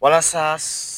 Walasa